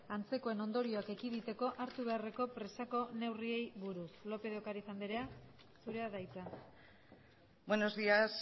antzekoen ondorioak ekiditeko hartu beharreko presako neurriei buruz lópez de ocariz andrea zurea da hitza buenos días